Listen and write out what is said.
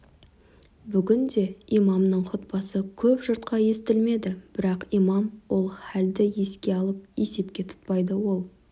бүгін де имамның хұтпасы көп жұртқа естілмеді бірақ имам ол халді еске алып есепке тұтпайды ол